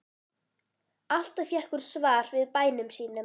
Alltaf fékk hún svar við bænum sínum.